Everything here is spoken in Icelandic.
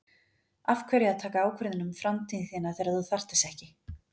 Af hverju að taka ákvörðun um framtíð þína þegar að þú þarft þess ekki?